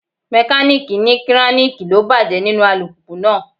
Mekaniiki ní kiraniki ló bàjẹ́ nínú alùpùpù náà.